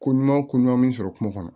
Ko ɲuman ko ɲuman min sɔrɔ kungo kɔnɔ